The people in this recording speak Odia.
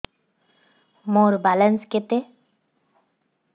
ମୋର ବାଲାନ୍ସ କେତେ